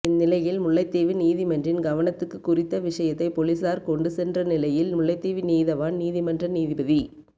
இந்நிலையில் முல்லைத்தீவு நீதிமன்றின் கவனத்துக்கு குறித்த விடயத்தை பொலிஸார் கொண்டு சென்ற நிலையில் முல்லைத்தீவு நீதவான் நீதிமன்ற நீதிபதி